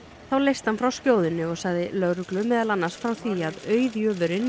þá leysti hann frá skjóðunni og sagði lögreglu meðal annars frá því að auðjöfurinn